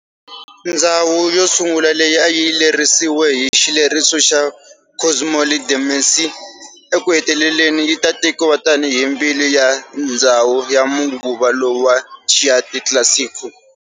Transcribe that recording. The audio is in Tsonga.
Ndzhawu yo sungula leyi a yi lerisiwe hi xileriso xa Cosimo III de' Medici ekuheteleleni yita tekiwa tani hi mbilu ya ndzhawu ya manguva lawa ya"Chianti Classico".